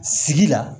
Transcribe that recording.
Sigi la